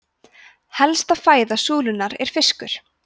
helsta fæða súlunnar er fiskur